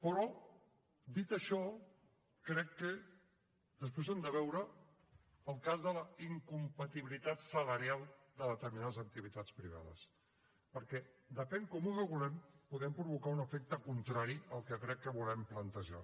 però dit això crec que després hem de veure el cas de la incompatibilitat salarial de determinades activitats privades perquè depenent de com ho regulem podem provocar un efecte contrari al que crec que volem plantejar